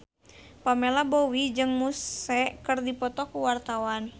Pamela Bowie jeung Muse keur dipoto ku wartawan